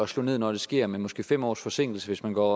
slå ned når det sker med måske fem års forsinkelse hvis man går